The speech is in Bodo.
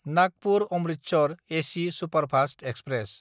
नागपुर–अमृतसर एसि सुपारफास्त एक्सप्रेस